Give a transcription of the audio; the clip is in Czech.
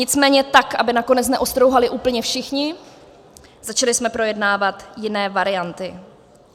Nicméně tak aby nakonec neostrouhali úplně všichni, začali jsme projednávat jiné varianty.